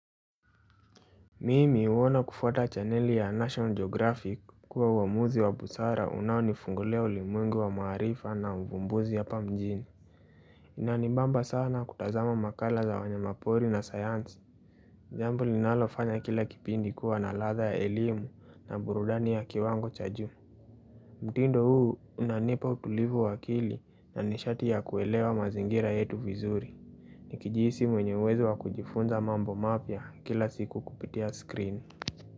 Mimi huona kufuata chaneli ya National Geographic kuwa uamuzi wa busara unaonifungulia ulimwengu wa maarifa na uvumbuzi apa mjini Inanibamba sana kutazama makala za wanyamapori na sayansi jambo linalofanya kile kipindi kuwa na ladha ya elimu na burudani ya kiwango cha juu mtindo huu unanipa utulivu wa akili na nishati ya kuelewa mazingira yetu vizuri Nikijihisi mwenye uwezo wa kujifunza mambo mapya kila siku kupitia screen.